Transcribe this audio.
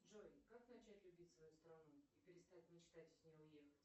джой как начать любить свою страну и перестать метать из нее уехать